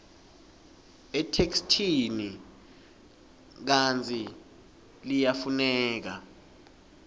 etheksthini kantsi liyafuneka